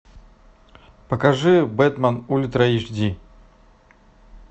покажи бетмен ультра эйч ди